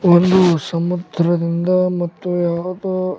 ಒಂದು ಸಂವತ್ಸರದಿಂದ ಮತ್ತು ಯಾವುದೊ --